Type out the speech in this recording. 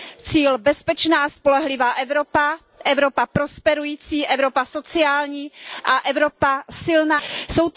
Cíl bezpečná a spolehlivá Evropa, Evropa prosperující, Evropa sociální a Evropa silná ve světě.